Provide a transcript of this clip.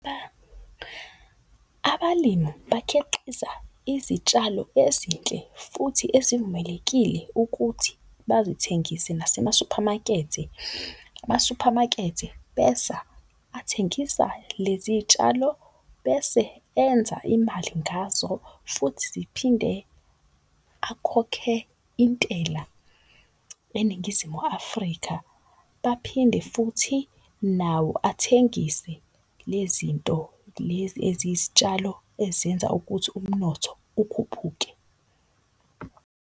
Abalimu bakhiqiza izitshalo ezinhle futhi ezivumelekile ukuthi bazithengise nasemasuphamakethe. Amasuphamakethe besa athengisa lezi y'tshalo bese enza imali ngazo futhi ziphinde akhokhe intela eNingizimu Afrika. Baphinde futhi nawo athengise le zinto lezi eziyisitshalo ezenza ukuthi umnotho ukhuphuke.